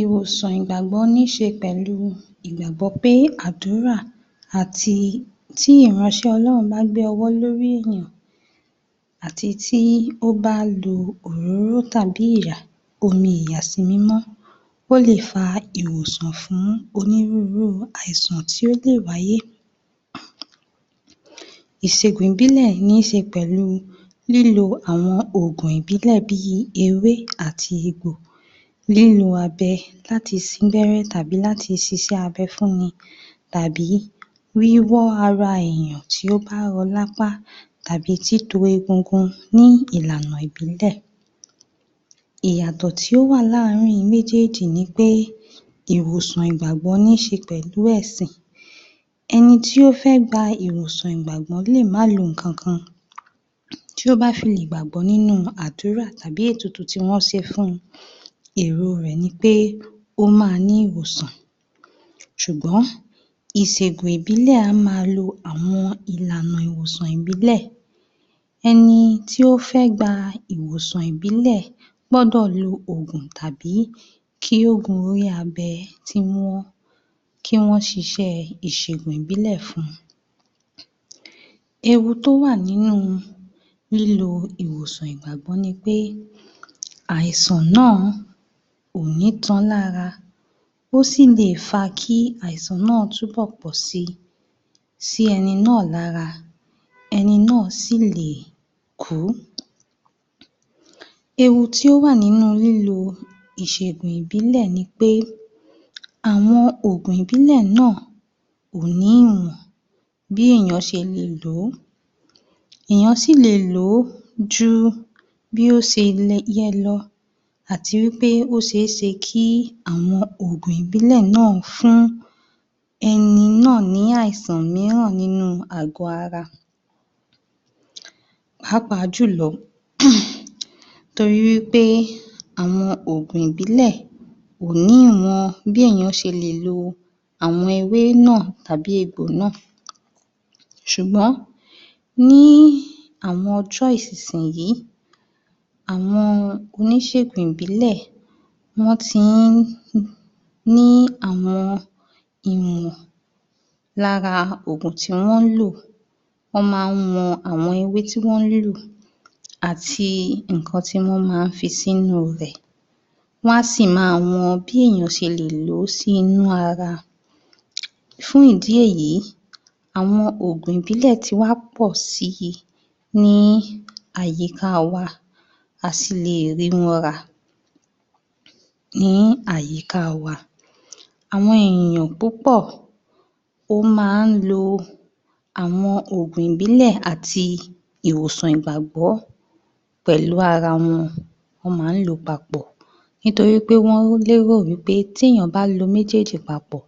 Ìwòsàn ìgbàgbọ́ níṣe pẹ̀lú ìgbàgbọ́ pé àdúrà àti tí ìránṣẹ́ Ọlọ́run bá gbé ọwọ́ lórí èyàn àti tí ó bá lo òróró tàbí omi ìyàsí mímọ́, ó lè fa ìwòsàn fún onírúurú àìsàn tí ó lè wáyé. Ìṣègùn ìbílẹ̀ níṣe pẹ̀lú lílo àwọn ògùn ìbílè bí ewé àti egbò, lílo abẹ láti sín gbẹ́ré tàbí láti ṣiṣẹ́ abẹ fún wọn tàbí wíwọ́ ara enìyàn tí ó bá rọ́ lápá tàbí títo egungun ní ìlànà ìbílẹ̀. Ìyàtọ̀ tí ó wà láàrin méjèjì ni pé, ìwòsàn ìgbàgbọ́ níṣe pẹ̀lú ẹ̀sìn, ẹni tí ó fẹ́ gba ìwòsàn ìgbàgbọ́ lè má lo nǹkan kan, tí ó bá fi lè gbàgbọ́ nínú àdúrà tàbí ètùtù tí wọ́n ṣe fun, èro rẹ̀ nipé ó ma ní ìwòsàn ṣùgbọ́n ìṣègùn ìbílẹ̀ á ma lo àwọn ìlànà ìwòsàn ìbílẹ̀, ẹni tí ó fẹ gba ìwòsàn ìbílẹ̀ gbọ́dọ̀ lo ògùn tàbí kí wọ́n gun orí abẹ kí wọ́n ṣiṣẹ́ ìsègùn ìbílẹ̀ fun, ewu tó wà nínú lílo ìwòsàn ìgbàgbọ́ ni pé àìsàn náà kò ní tán lára, ó sì lè fa kí àìsàn náà túnbọ̀ pọ̀ si, sí ẹni náà lára, ẹni náà sì lè kú. Ewu tí ó wà nínú lílo ìṣègùn ìbílẹ̀ ni pé, àwọn ògùn ìbílẹ̀ náà kò ní ìmọ̀ bí èyàn ṣe lè ló, èyàn sì lè lò ó ju bó ṣe yẹ lọ àti wí pé ó ṣe é ṣe kí àwọn ògùn ìbílẹ̀ náà fún ẹni náà ní àìsàn míràn nínú àgọ̀ ara, pàápàá jùlọ um torí wí pé àwọn ògùn ìbílẹ̀ kò ní ìmọ̀ bí èyàn ṣe lè lo àwọn ewé náà tàbí egbò náà ṣùgbọ́n ní àwọn ìsìnyí àwọn oníṣègùn ìbílẹ̀ wọ́n ti ń ní àwọn ìmọ̀ lára ògùn tí wọ́n ń lò, wọ́n máa ń mọ àwọn ewé tí wọ́n ń lò àti nǹkan tí wọ́n máa ń fi sínú rẹ̀, wọ́n á sì ma wọn bí èyàn ṣe lè ló sí inú ara, fún ìdí èyí, àwọn ògùn ìbílẹ̀ ti wá pọ̀ si ní àyíká wa, a sì lè rí wọn rà ní àyíká wa, àwọn èyàn púpọ̀ ó máa ń lo àwọn ògùn ìbílẹ̀ àti ìwòsàn ìgbàgbọ́ pẹ̀lú ara wọn, wọ́n máa ń lò ó papọ̀ nítorí pé wọ́n lérò wí pé tí èyàn bá lo méjèjì papọ̀,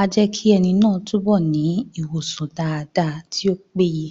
á jẹ́ kí ẹni naáà ní ìwòsàn daada tí ó pé ye.